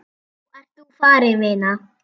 Nú ert þú farin, vina.